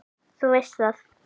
Þú veist það!